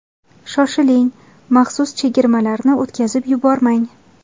Shoshiling, maxsus chegirmalarni o‘tkazib yubormang!